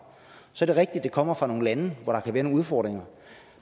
så det at det kommer fra nogle lande hvor der kan være nogle udfordringer